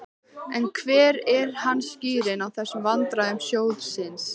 En hver er hans skýring á þessum vandræðum sjóðsins?